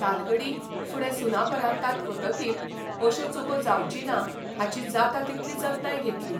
तालगडी फुडें सुनापरान्तांत वतकीर अश्यो चुको जावची ना हाची जाता तितली जतनाय घेतली.